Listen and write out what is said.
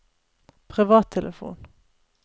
privattelefon